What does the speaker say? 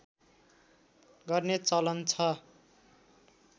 गर्ने चलन छ